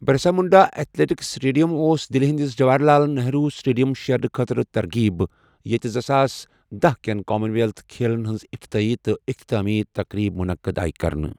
Birsa Munda athletics stadium اوس دِلہِ ہِنٛدِس جواہر لال نہروٗ سٕٹیڈِیمس شیرنہٕ خٲطرٕ ترغیب ، ییٚتہِ زٕساس دہ کیٚن کامن وٮ۪لتھ کھیلن ہِنٛز افتتاحی تہٕ اختتامی تقریٖبہٕ مُنعقد آیہٕ کرنہٕ ۔